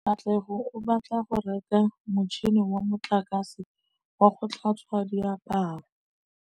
Katlego o batla go reka motšhine wa motlakase wa go tlhatswa diaparo.